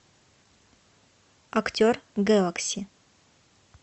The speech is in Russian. актер гэлакси